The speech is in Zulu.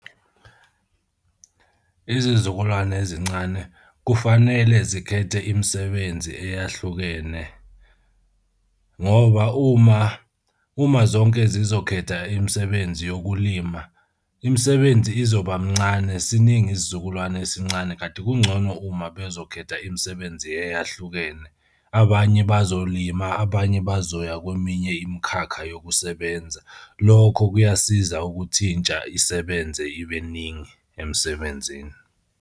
Izizukulwane ezincane kufanele zikhethe imisebenzi eyahlukene ngoba uma uma zonke zizokhetha imisebenzi yokulima, imisebenzi izoba mncane siningi isizukulwane esincane kanti kungcono uma bezokhetha imisebenzi eyahlukene. Abanye bazolima abanye bazoya kweminye imikhakha yokusebenza. Lokho kuyasiza ukuthi intsha isebenze ibe ningi emsebenzini.